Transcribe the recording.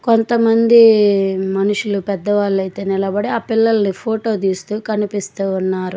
కొంతమంది మనుషులు పెద్దవాళ్ళు అయితే నిలబడి ఆ పిల్లల్ని ఫోటో తీస్తూ కనిపిస్తూ ఉన్నారు.